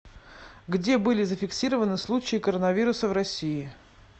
где были зафиксированы случаи коронавируса в россии